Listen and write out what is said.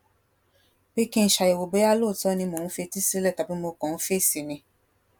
pé kí n ṣàyèwò bóyá lóòótó ni mò ń fetí sílè tàbí mo kàn ń fèsì ni